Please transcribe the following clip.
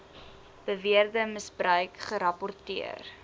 beweerde misbruik gerapporteer